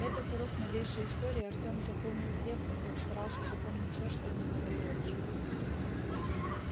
этот урок новейшей истории артём запомнил крепко как старался запоминать всё что ему говорил отчим